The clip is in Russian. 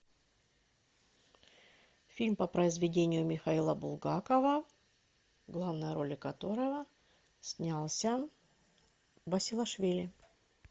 фильм по произведению михаила булгакова в главной роли которого снялся басилашвили